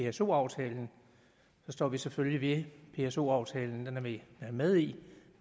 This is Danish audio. af pso aftalen så står vi selvfølgelig ved pso aftalen den er vi med i